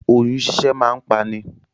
Òyun ṣíṣẹ́ máa ń pa ni.